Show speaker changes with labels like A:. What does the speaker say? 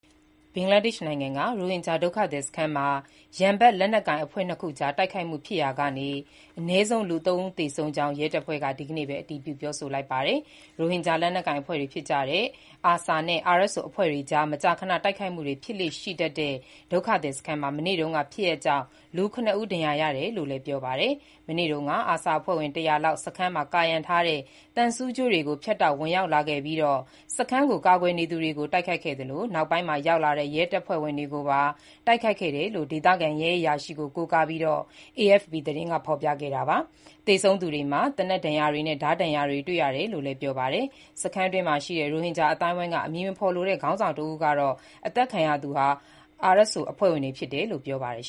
A: ဘင်္ဂလားဒေ့ရှ်နိုင်ငံက ရိုဟင်ဂျာ ဒုက္ခသည်စခန်းမှာ ရန်ဖက်လက်နက်ကိုင် အဖွဲ့ ၂ ခုကြား တိုက်ခိုက်မှု ဖြစ်ရာက အနည်းဆုံး ၃ ဦးသေဆုံးခဲ့ကြောင်း ရဲတပ်ဖွဲ့က ဒီကနေ့ပဲ အတည်ပြု ပြောဆိုလိုက်ပါတယ်။ ရိုဟင်ဂျာ လက်နက်ကိုင်အဖွဲ့တွေ ဖြစ်ကြတဲ့ ARSA နဲ့ RSO အဖွဲ့တွေကြား မကြာခဏ တိုက်ခိုက်မှုတွေ ဖြစ်လေ့ရှိတတ်တဲ့ ဒုက္ခသည်စခန်းမှာ မနေ့တုန်းက ဖြစ်ရပ်ကြောင့် ၇ ဦး ဒဏ်ရာရတယ်လို့လည်း ပြောပါတယ်။ မနေ့တုန်းက ARSA အဖွဲ့ဝင် ၁၀၀ လောက် စခန်းမှာ ကာရံထားတဲ့ သံဆူးကြိုးတွေကို ဖြတ်တောက် ဝင်ရောက်လာခဲ့ပြီး စခန်းကို ကာကွယ်နေသူတွေကို တိုက်ခိုက်ခဲ့သလို၊ နောက်ပိုင်းမှာ ရောက်လာတဲ့ ရဲတပ်ဖွဲ့ဝင်တွေပါ တိုက်ခိုက်ခဲ့တယ်လို့လည်း ဒေသခံရဲအရာရှိ Mohammad Iqbal ကို ကိုးကားပြီး AFP သတင်းက ဖော်ပြခဲ့တာပါ။ သေဆုံးသူတွေမှာ သေနတ်ဒဏ်ရာတွေနဲ့ ဓားဒဏ်ရာတွေ တွေ့ရတယ်လို့လည်း ပြောပါတယ်။ စခန်းတွင်းရှိ ရိုဟင်ဂျာ အသိုင်းအဝန်းက အမည်မဖော်လိုတဲ့ ခေါင်းဆောင် တဦးကတော့ အသတ်ခံရသူတွေဟာRSO အဖွဲ့ဝင်တွေဖြစ်တယ်လို့ ပြောပါတယ်